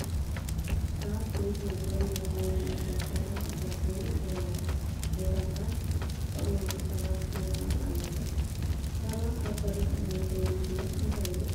ኣብ ቤት ምግብን መስተን ዝመስል ቦታ በሪ ኣብ ዘሎ ቦታታት ዝተቐመጡ ሰባት ይርአዩ ኣለዉ፡፡ ሰባት ኣብ በሪ ዝቕመጡሉ ምኽንያት እንታይ እዩ?